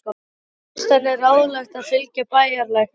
Enn fannst henni ráðlegast að fylgja bæjarlæknum.